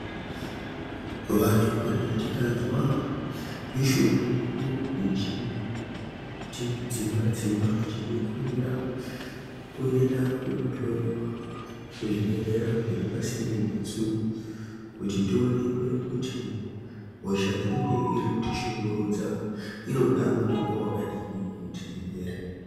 Vantu kana tikazwa mishuna yedu ichitidzimba-dzimba tinofanira kuenda kunohloiwa kuzvibhedhlera zviri pasinde nesu. Kuti tonekwe kuti hosha inenge iri kutishungurudza inoda mutombo vakadini kuti ipere.